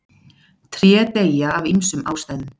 Tré deyja af ýmsum ástæðum.